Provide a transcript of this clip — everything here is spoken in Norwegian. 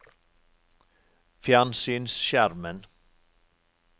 fjernsynsskjermen